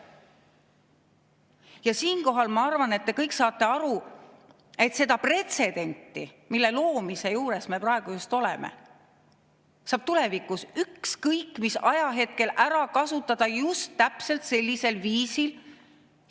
Ja siinkohal ma arvan, et te kõik saate aru, et seda pretsedenti, mille loomise juures me praegu oleme, saab tulevikus ükskõik mis ajahetkel ära kasutada just täpselt sellisel viisil.